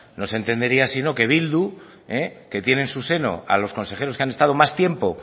no se entendería si no que bildu que tiene en su seno a los consejeros que han estado más tiempo